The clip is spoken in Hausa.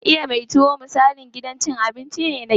Iya mai tuwo misalin gidan cin abinci ne na gida.